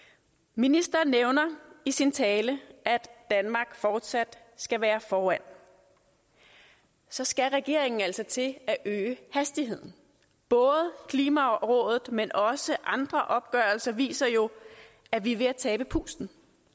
ministeren nævner i sin tale at danmark fortsat skal være foran så skal regeringen altså til at øge hastigheden både klimarådets rapport men også andre opgørelser viser jo at vi er ved at tabe pusten